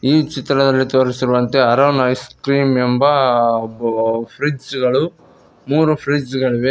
ಈ ಚಿತ್ರದಲ್ಲಿ ತೋರಿಸಿರುವಂತೆ ಅರುಣ್ ಐಸ್ ಕ್ರೀಮ್ ಎಂಬ ಫ್ರಿಡ್ಜ್ ಗಳು ಮೂರು ಫ್ರಿಡ್ಜ್ ಗಳಿವೆ .